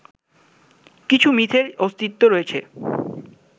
কিছু মিথের অস্তিত্ব রয়েছে